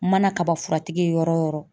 Mana kaba furatigi ye yɔrɔ yɔrɔ yɔrɔ.